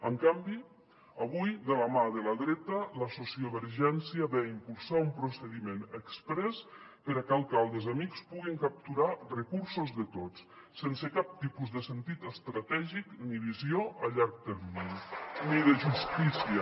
en canvi avui de la mà de la dreta la sociovergència ve a impulsar un procediment exprés perquè alcaldes amics puguin capturar recursos de tots sense cap tipus de sentit estratègic ni visió a llarg termini ni de justícia